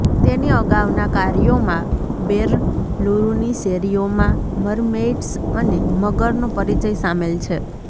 તેની અગાઉના કાર્યોમાં બેરલુરુની શેરીઓમાં મરમેઇડ્સ અને મગરનો પરિચય શામેલ છે